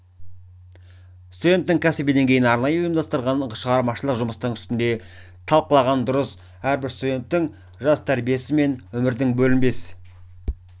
студенттің кәсіби деңгейін арнайы ұйымдастырылған шығармашылық жұмыстың үстінде талқылаған дұрыс әрбір студент жастың тәрбиесі өмірдің бөлінбес